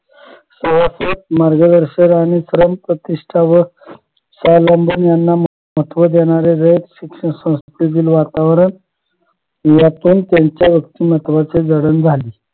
व्यवस्थित मार्गदर्शक आणि क्रमप्रतिष्ठा व महत्व देणारे रयत शिक्षण संस्थेतील वातावरण यातून त्यांच्या व्यक्तिमत्वाची जडण झाली